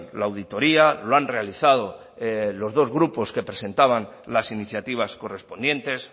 la auditoría lo han realizado los dos grupos que presentaban las iniciativas correspondientes